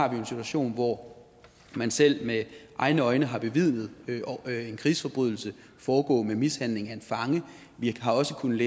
jo en situation hvor man selv med egne øjne har bevidnet en krigsforbrydelse foregå med mishandling af en fange vi har også kunnet